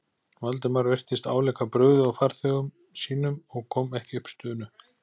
Valdimar virtist álíka brugðið og farþegum sínum og kom ekki upp stunu.